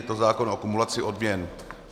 Je to zákon o kumulaci odměn.